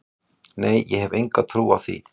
Nei ég hef enga trú á því.